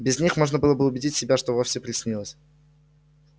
без них можно было бы убедить себя что всё приснилось